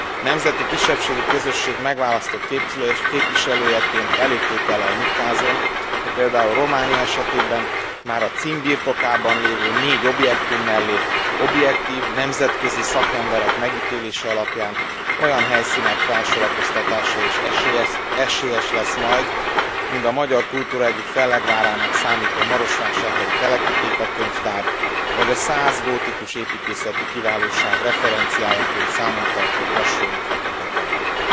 Nemzeti kisebbségi közösség megválasztott képviselőjeként elégtétellel nyugtázom, hogy például Románia esetében már a cím birtokában lévő négy objektum mellé objektív, nemzetközi szakemberek megítélése alapján olyan helyszínek felsorakoztatása is esélyes lesz majd, mind a magyar kultúra egyik fellegvárának számító marosvásárhelyi Teleki Téka könyvtár, vagy a szász gótikus építészeti kiválóság referenciájaként számon tartott brassói Fekete templom.